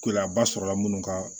Gɛlɛyaba sɔrɔla minnu ka